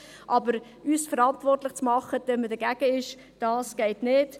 Aber uns verantwortlich zu machen, wenn man dagegen ist, das geht nicht.